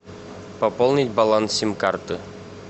пополнить баланс сим карты